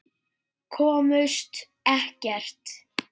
Komust ekkert.